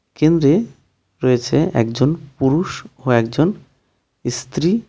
কেন্দ্রে রয়েছে একজন পুরুষ ও একজন ইস্ত্রী .